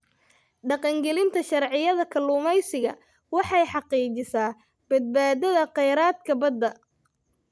Dhaqangelinta sharciyada kalluumeysiga waxay xaqiijisaa badbaadada kheyraadka badda.